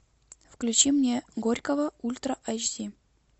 включи мне горького ультра эйч ди